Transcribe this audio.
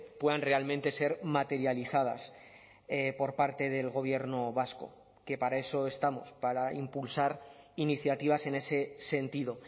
puedan realmente ser materializadas por parte del gobierno vasco que para eso estamos para impulsar iniciativas en ese sentido